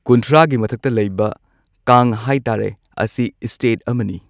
ꯀꯨꯟꯊ꯭ꯔꯥꯒꯤ ꯃꯊꯛꯇ ꯂꯩꯕ ꯀꯥꯡ ꯍꯥꯏꯇꯥꯔꯦ ꯑꯁꯤ ꯏꯁꯇꯦꯠ ꯑꯃꯅꯤ꯫